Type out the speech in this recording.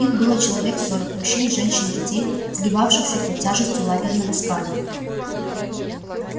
их было человек сорок мужчин женщин детей сгибавшихся под тяжестью лагерного скарба